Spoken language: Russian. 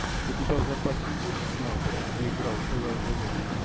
у тебя в запасе есть снайперы где играл элайджа вуд